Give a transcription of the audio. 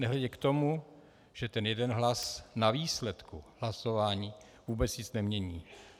Nehledě k tomu, že ten jeden hlas na výsledku hlasování vůbec nic nemění.